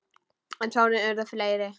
En sárin urðu fleiri.